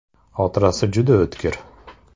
Xotirasi juda o‘tkir.